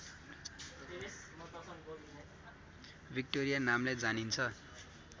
Victoria नामले जानिन्छ